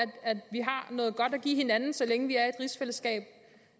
give hinanden så længe vi